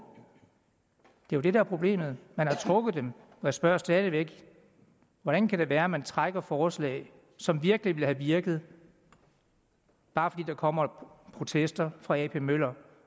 det er jo det der er problemet man har trukket dem jeg spørger stadig væk hvordan kan det være at man trækker forslag som virkelig ville have virket bare fordi der kommer protester fra ap møller